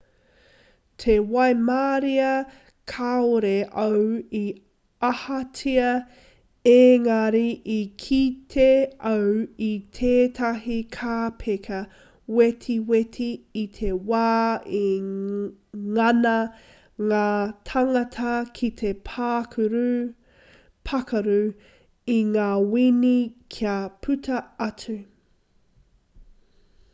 te waimarie kāore au i ahatia ēngari i kite au i tētahi kāpeka wetiweti i te wā i ngana ngā tāngata ki te pākaru i ngā wini kia puta atu